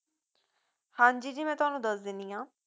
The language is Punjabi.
ਹਾਂਜੀ ਜੀ ਮੈਂ ਤੁਹਾਨੂੰ ਦੱਸ ਦੇਣੀ ਆ